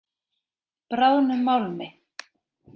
Bráðnum málmi.